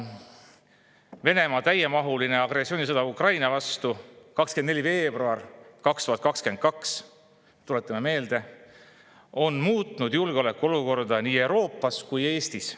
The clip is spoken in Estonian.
Venemaa täiemahuline agressioonisõda Ukraina vastu – 24. veebruar 2022, tuletame meelde – on muutnud julgeolekuolukorda nii Euroopas kui ka Eestis.